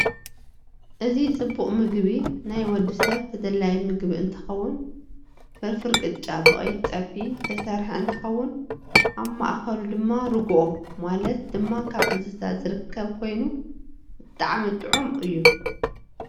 እዚ ፀቡቅ ምግብ ናይ ወድሰብ ተደላይ መግብ እንትከውን ፈርፈረ ቅጫ ብቀይሕ ፀብሕ ዝተሰርሐ እንትከውን አብ መእከሉ ድማ ሩግኦ ማለት ድማ ካብ እንስሳ ዝርከብ ኮይኑ ብጣዓም ጥዒም እዩ።